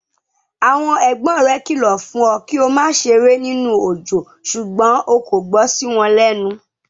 Àwọn ẹ̀gbọ́n rẹ kìlọ̀ fún ọ kí o má ṣeré nínú òjò ṣùgbọ́n o kò gbọ́ sí wọn lẹ́nu.